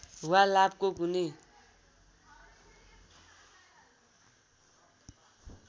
वा लाभको कुनै